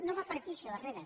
no va per aquí això herrera